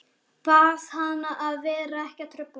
Bað hana að vera ekki að trufla.